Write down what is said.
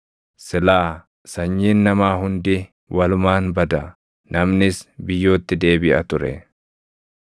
silaa sanyiin namaa hundi walumaan bada; namnis biyyootti deebiʼa ture.